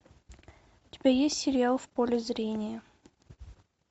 у тебя есть сериал в поле зрения